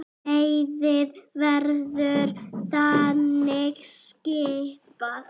Liðið verður þannig skipað